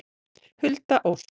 Hulda Ósk.